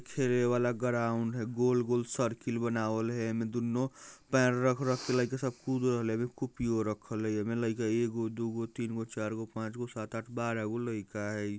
खेरे बाला ग्राउंड हई गोल गोल सर्किल बनाऊल हई अइमे दुनो पैर रख रख के लईका सब कूद रहल हई एक कुपि रखल हई अइमे एगो दुगो तीनगो चारगो पांचगो सातगो आठगो बारहगो लईका हई ।